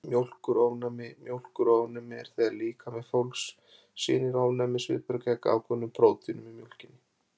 Mjólkurofnæmi Mjólkurofnæmi er þegar líkami fólks sýnir ofnæmisviðbrögð gegn ákveðnum prótínum í mjólkinni.